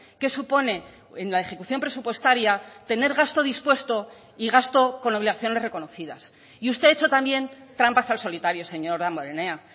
qué supone en la ejecución presupuestaria tener gasto dispuesto y gasto con obligaciones reconocidas y usted ha hecho también trampas al solitario señor damborenea